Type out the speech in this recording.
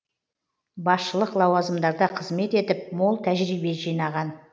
басшылық лауазымдарда қызмет етіп мол тәжірибе жинаған